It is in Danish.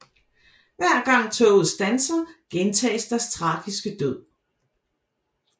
Hver gang toget standser gentages deres tragiske død